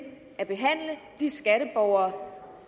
at behandle de skatteborgere